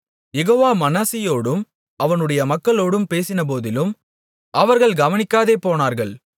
யெகோவா மனாசேயோடும் அவனுடைய மக்களோடும் பேசினபோதிலும் அவர்கள் கவனிக்காதே போனார்கள்